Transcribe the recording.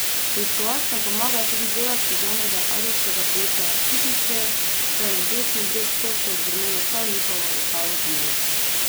Preiskovalcem pomagajo tudi delavci znanega ajdovskega podjetja Pipistrel, saj je na desni breg Soče zgrmelo prav njihovo letalo virus.